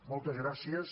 moltes gràcies